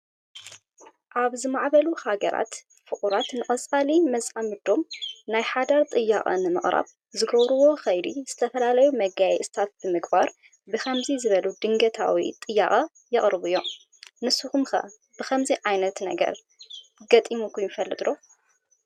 ኣብ ዝማዕበሉ ሃገራት ፍቑራት ንቀፃሊ መፃምዶም ናይ ሓዳር ጥያቐ ንምቅራብ ዝገብርዎ ከይዲ ዝተፈላለዩ መጋየፅታት ብምግባር ብከምዚ ዝበሉ ድንገታዊ ጥያቐ የቅርቡ እዮም። ንስኹም ኸ ከምዚ ዓይነት ነገር ገጢምኩም ይፈልጥ ዶ?